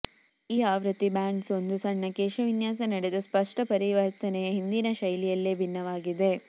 ಈ ಆವೃತ್ತಿ ಬ್ಯಾಂಗ್ಸ್ ಒಂದು ಸಣ್ಣ ಕೇಶವಿನ್ಯಾಸ ನಡೆದ ಸ್ಪಷ್ಟ ಪರಿವರ್ತನೆಯ ಹಿಂದಿನ ಶೈಲಿಯಲ್ಲೇ ಭಿನ್ನವಾಗಿದೆ